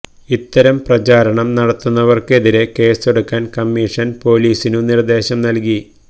ഇത്തരം പ്രചാരണം നടത്തുന്നവര്ക്ക് എതിരെ കേസെടുക്കാന് കമ്മീഷന് പോലീസിനു നിര്ദേശം നല്കി